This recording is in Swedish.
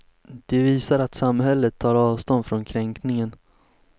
Det visar att samhället tar avstånd från kränkningen.